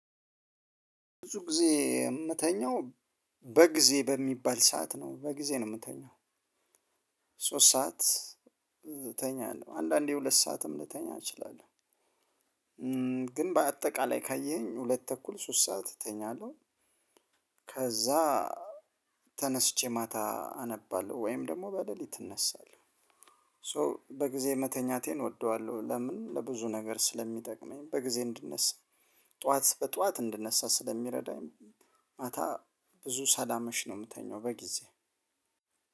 ብዙ ጊዜ የምተኛው በጊዜ በሚባል ሰዓት ነው በጊዜ ነው የምተኛው። ሶስት ሰዓት እተኛለሁ አንዳንዴ ሁለት ሰዓትም ልተኛ እችላለሁ። ግን በአጠቃላይ ካየኸኝ ሁለት ተኩል ሶስት ሰዓት እተኛለሁ። ከዛ ተነስቼ ማታ አነባለሁ ወይም ደግሞ በሌሊት እነሳለሁ። ሶ በጊዜ መተኛቴን እወደዋለሁ። ለምን ለብዙ ነገር ስለሚጠቅመኝ በጊዜ እንድነሳ ጠዋት በጠዋት እንድነሳ ስለሚረዳኝ። ማታ ብዙ ሳላምሽ ነው የምተኛው በጊዜ